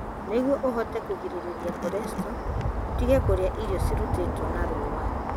Nĩguo ũhote kũgirĩrĩria cholesterol, ũtige kũrĩa irio iria ciarutĩtwo na rũũa.